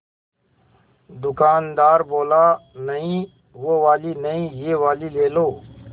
दुकानदार बोला नहीं वो वाली नहीं ये वाली ले लो